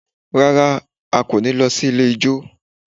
Rárá, a kò ní lọ sí ilé ijó